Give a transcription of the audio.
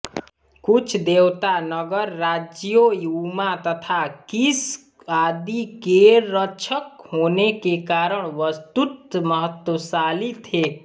कुछ देवता नगर राज्यों उम्मा तथा किश आदि केरक्षक होने के कारण वस्तुत महत्वशाली थे